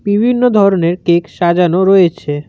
বিভিন্ন ধরনের কেক সাজানো রয়েছে।